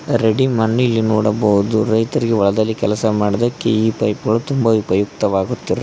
Ready ಮನ್ ಇಲ್ಲಿ ನೋಡಬಹುದು ರೈತರಿಗೆ ಹೊಲದಲ್ಲಿ ಕೆಲಸ ಮಾಡೋದಕ್ಕೆ ಈ ಪೈಪ್ ಗಳು ತುಂಬ ಉಪಯುಕ್ತವಾಗುತ್ತದೆ.